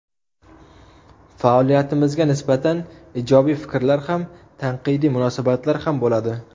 Faoliyatimizga nisbatan ijobiy fikrlar ham, tanqidiy munosabatlar ham bo‘ladi.